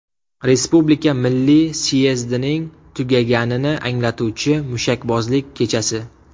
Respublika milliy syezdining tugaganini anglatuvchi mushakbozlik kechasi.